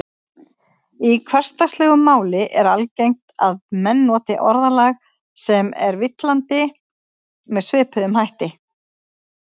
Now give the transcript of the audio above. Í hversdagslegu máli er algengt að menn noti orðalag sem er villandi með svipuðum hætti.